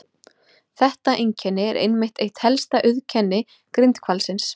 Þetta einkenni er einmitt eitt helsta auðkenni grindhvalsins.